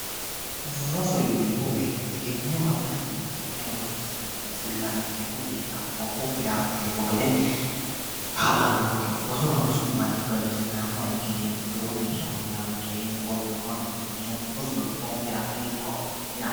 roso yineemmo woyite egenno afirate yine ka'ne horonsi'nanni fullankeemmo gedenna anfoommokkire anfeemmo gede kaa'lannonkeho roso ronsummoro kayinni egennaamma ikkineemmo lowo geeshsha fullankeemmo gowwimmano hunneemmo rosu luphonkera xintaho yaate.